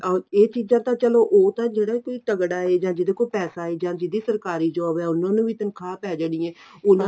ਆਹੋ ਇਹ ਚੀਜ਼ਾਂ ਤਾਂ ਚਲੋ ਉਹ ਤਾਂ ਜਿਹੜਾ ਕੋਈ ਤਗੜਾ ਏ ਜਾਂ ਜਿਹਦੇ ਕੋਲ ਪੈਸਾ ਏ ਜਾਂ ਜਿਹਦੀ ਸਰਕਾਰੀ job ਏ ਉਨ੍ਹਾਂ ਨੂੰ ਵੀ ਤਨਖਾਹ ਪੈ ਜਾਣੀ ਏ ਉਨ੍ਹਾਂ